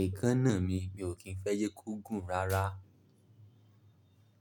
Èékánná mi, mi ò kì í fẹ́ jẹ́ kó gùn rárá.